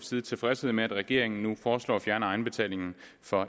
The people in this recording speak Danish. side tilfredshed med at regeringen nu foreslår at fjerne egenbetalingen